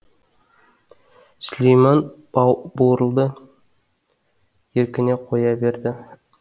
сүлейман бурылды еркіне қоя берді